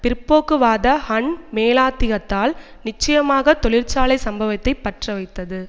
பிற்போக்குவாத Han மேலாதிக்கத்தால் நிச்சயமாக தொழிற்சாலை சம்பவத்தை பற்றவைத்தது